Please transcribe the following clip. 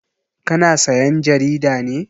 Ka na sayan jarida ne?